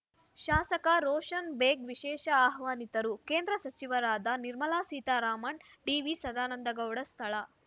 ಶಾಸಕ ರೋಷನ್‌ ಬೇಗ್‌ ವಿಶೇಷ ಆಹ್ವಾನಿತರು ಕೇಂದ್ರ ಸಚಿವರಾದ ನಿರ್ಮಲಾ ಸೀತಾರಾಮನ್‌ ಡಿವಿಸದಾನಂದ ಗೌಡ ಸ್ಥಳ